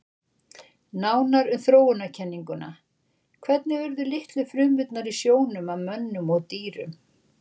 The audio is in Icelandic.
Nánar um þróunarkenninguna Hvernig urðu litlu frumurnar í sjónum að mönnum og dýrum?